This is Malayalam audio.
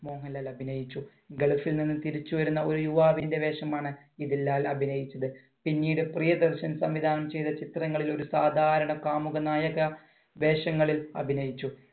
മോഹൻലാൽ അഭിനയിച്ചു. gulf ൽ നിന്നും തിരിച്ചു വരുന്ന ഒരു യുവാവിന്‍റെ വേഷമാണ് ഇതിൽ ലാൽ അഭിനയിച്ചത്. പിന്നീട് പ്രിയദർശൻ സംവിധാനം ചെയ്ത ചിത്രങ്ങളിൽ ഒരു സാധാരണ കാമുകനായക വേഷങ്ങളിൽ അഭിനയിച്ചു.